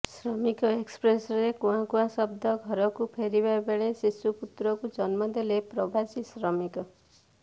ଶ୍ରମିକ ଏକ୍ସପ୍ରେସରେ କୁଆଁ କୁଆଁ ଶବ୍ଦ ଘରକୁ ଫେରିବା ବେଳେ ଶିଶୁ ପୁତ୍ରକୁ ଜନ୍ମଦେଲେ ପ୍ରବାସୀ ଶ୍ରମିକ